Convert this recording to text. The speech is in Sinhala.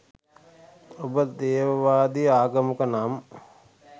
ඔබ දේවවාදී ආගමක නම්